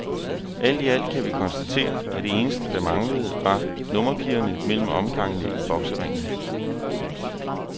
Alt i alt kan vi konstatere, at det eneste, der manglede, var nummerpigerne mellem omgangene i bokseringen.